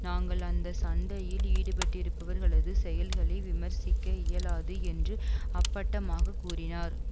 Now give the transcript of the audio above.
நாங்கள் அந்த சண்டையில் ஈடுபட்டிருப்பவர்களது செயல்களை விமர்சிக்க இயலாது என்று அப்பட்டமாக கூறினார்